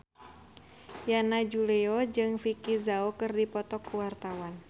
Yana Julio jeung Vicki Zao keur dipoto ku wartawan